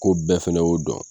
Ko bɛɛ fana y'o dɔn.